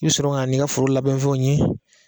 I bɛ sɔrɔ ka na n'i ka foro labɛnfɛnw ye